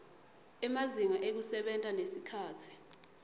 emazinga ekusebenta nesikhatsi